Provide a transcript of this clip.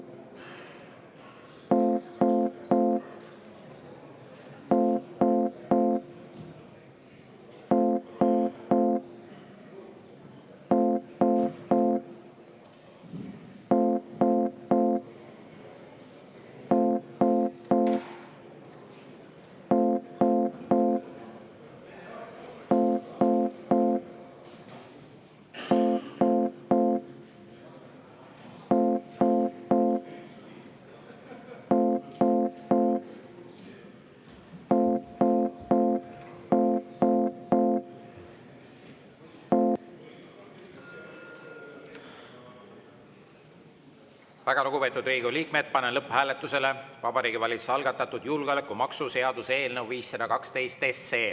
Väga lugupeetud Riigikogu liikmed, panen lõpphääletusele Vabariigi Valitsuse algatatud julgeolekumaksu seaduse eelnõu 512.